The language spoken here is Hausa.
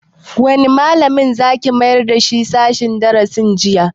Wanne malamin za ki mayar sashen darasin jinya?